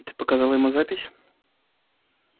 и ты показал ему запись